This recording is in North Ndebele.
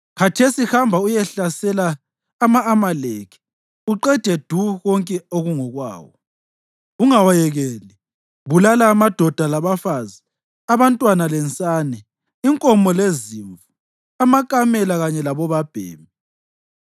Khathesi hamba uyehlasela ama-Amaleki uqede du konke okungokwawo. Ungawayekeli; bulala amadoda labafazi, abantwana lensane, inkomo lezimvu, amakamela kanye labobabhemi.’ ”